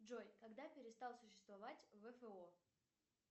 джой когда перестал существовать вфо